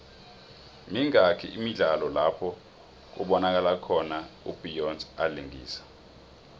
mingaki imidlalo lapho kubonakalo khona u beyonce alingisa